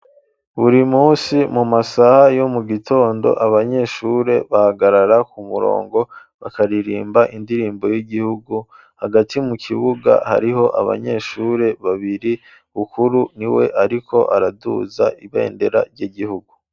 Buri munsi mu masaha yo mu gitondo abanyeshure bahagarara ku murongo bakaririmba indirimbo y'igihugu, hagati mu kibuga hariho abanyeshure babiri. Bukuru ni we ariko araduza ibendera ry'igihugu.